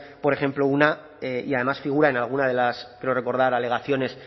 por ejemplo una y además figura en alguna de las creo recordar alegaciones